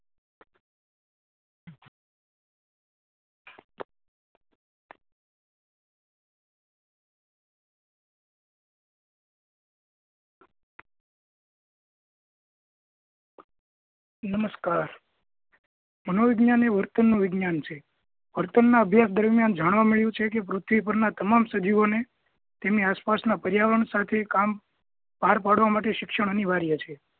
નમસ્કાર મનોવિજ્ઞાન એ વિજ્ઞાન છે. ના અભ્યાસ દરમિયાન જાણવા મળ્યું છે કે પૃથ્વી પરના તમામ સજીવોને તેની આસપાસના પર્યાવરણ સાથે કામ પાર પાડવા માટે શિક્ષણ અનિવાર્ય છે